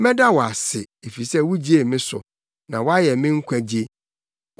Mɛda wo ase, efisɛ wugyee me so; na woayɛ me nkwagye.